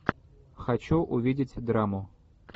хочу увидеть драму